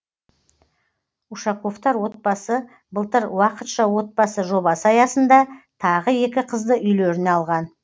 ушаковтар отбасы былтыр уақытша отбасы жобасы аясында тағы екі қызды үйлеріне алған